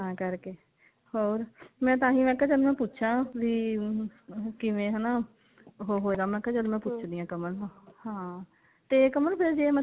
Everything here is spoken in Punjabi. ਤਾਂ ਕਰਕੇ ਹੋਰ ਮੈਂ ਤਾਹੀਂ ਮੈਂ ਕਿਹਾ ਚੱਲ ਮੈਂ ਪੁੱਛਾ ਵੀ hm ਕਿਵੇਂ ਹਨਾ ਮੈਂ ਕਿਹਾ ਚੱਲ ਮੈਂ ਪੁੱਛ ਦੀ ਆਂ ਕਮਲ ਨੂੰ ਹਾਂ ਤੇ ਕਮਲ ਫੇਰ ਜੇ